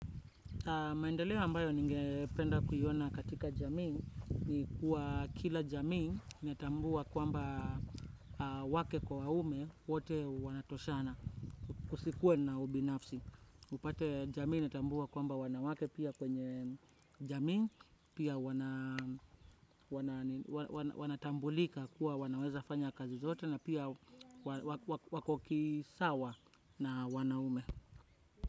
Maendeleo ambayo ningependa kuyiona katika jamii ni kuwa kila jamii inatambua kuamba wake kwa waume wate wanatoshana kusikue na ubinafsi. Upate jamii netambua kuamba wanawake pia kwenye jamii, pia wanatambulika kuwa wanaweza fanya kazi zote na pia wakokisawa na wanaume.